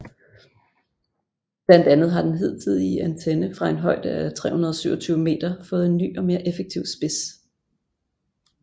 Blandt andet har den hidtidige antenne fra en højde af 327 meter fået en ny og mere effektiv spids